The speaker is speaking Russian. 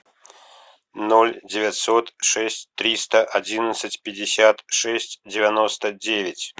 ноль девятьсот шесть триста одиннадцать пятьдесят шесть девяносто девять